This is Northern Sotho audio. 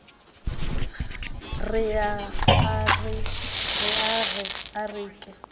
re ge a re ke